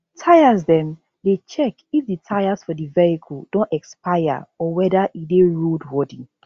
tyresdem dey check if di tyres for di vehicle don expire or weda e dey road worthy